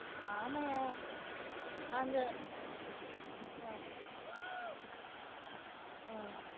ஆமையா? அந்த அஹ் உம்